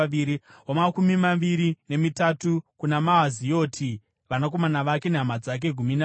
wamakumi maviri nemina kuna Romamiti-Ezeri, vanakomana vake nehama dzake—gumi navaviri.